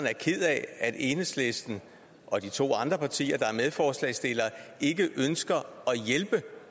er ked af at enhedslisten og de to andre partier der er medforslagsstillere ikke ønsker at hjælpe